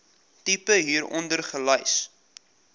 tipe hieronder gelys